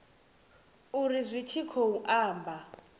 uri zwi tshi khou amba